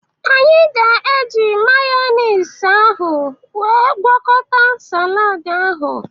Anyị ga-eji mayọnis ahụ wee gwọkọta salad ahụ.